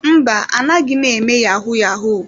Mba, anaghị m eme yahu-yahu.